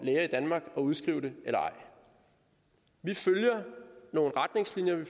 udskrive det eller ej vi følger nogle retningslinjer vi